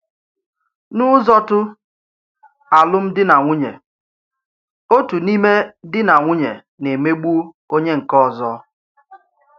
N’ụ̀zọ̀tụ̀ alụ́mdì na nwùnyè, otu n’ime dì na nwùnyè na-emègbu onye nke òzò.